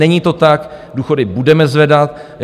Není to tak, důchody budeme zvedat.